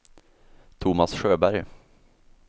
Tomas Sjöberg